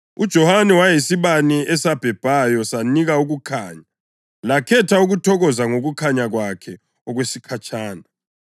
UJohane wayeyisibane esabhebhayo sanika ukukhanya, lakhetha ukuthokoza ngokukhanya kwakhe okwesikhatshana.